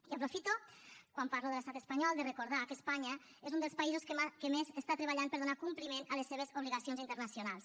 i ho aprofito quan parlo de l’estat espanyol per recordar que espanya és un dels països que més està treballant per a donar compliment a les seves obligacions internacionals